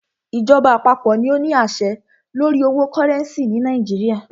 Ìjọba àpapọ̀ ní o ní àṣẹ lórí owo cúrẹ́ncì ni Nàìjíríà.